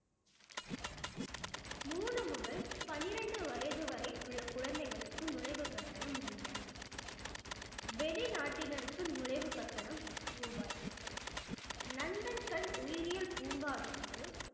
மூணு முதல் பன்னிரண்டு வயது வரை உள்ள குழந்தைகளுக்கு நுழைவு கட்டணம் ரூபாய் வெளிநாட்டினருக்கு நுழைவு கட்டணம் ரூபாய் நந்தன் கண் உயிரியல் பூங்காவிற்கு